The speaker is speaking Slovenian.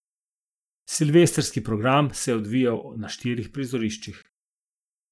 Silvestrski program se je odvijal na štirih prizoriščih.